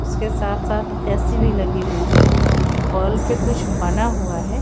उसके साथ-साथ ऐसी भी लगी हुई है पे कुछ बना हुआ है।